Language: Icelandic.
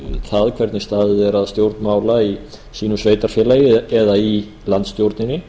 það hvernig staðið er að stjórn mála í sínu sveitarfélagi eða í landsstjórninni